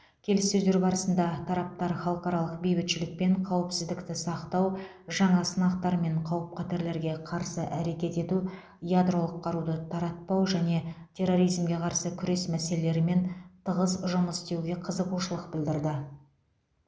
келіссөздер барысында тараптар халықаралық бейбітшілік пен қауіпсіздікті сақтау жаңа сынақтар мен қауіп қатерлерге қарсы әрекет ету ядролық қаруды таратпау және терроризмге қарсы күрес мәселелерімен тығыз жұмыс істеуге қызығушылық білдірді